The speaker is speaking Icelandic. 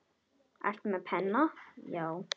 Ertu með penna, já.